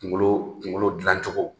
Kunkolo kunkolo dilancogo